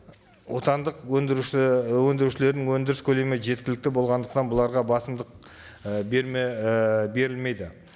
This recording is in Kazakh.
отандық өндіруші і өндірушілердің өндіріс көлемі жеткілікті болғандықтан бұларға басымдық і берме і берілмейді